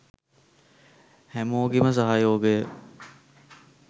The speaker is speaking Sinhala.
හැමෝගෙම සහයෝගය